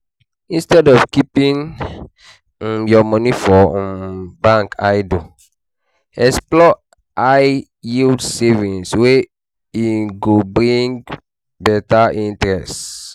Instead of keeping um your money for um bank idle, explore high yield savings wey um go dey bring interest